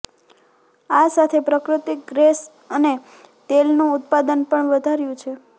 આ સાથે પ્રકૃતિક ગેસ અને તેલનું ઉત્પાદન પણ વધાર્યું છે